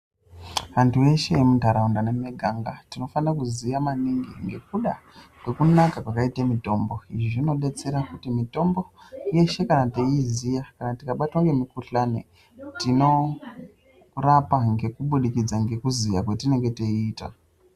Antu eshe emuntaraunda nemimiganga tinofane kuziya maningi ngekuda kwekunaka kwakaite mutombo izvi zvinodetsera kuti mitombo yeshe kana teiiziya kana tikabatwa ngemukhuhlani tinorapa ngekubudikidza ngekuziya kwetinenge teiita.